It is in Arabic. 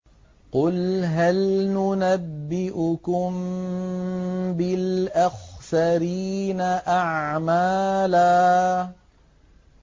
قُلْ هَلْ نُنَبِّئُكُم بِالْأَخْسَرِينَ أَعْمَالًا